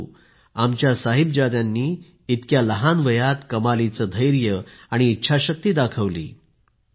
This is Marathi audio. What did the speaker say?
परंतु आमच्या साहिबजादे यांनी इतक्या लहान वयात कमालीचे धैर्य व इच्छाशक्ती दाखविली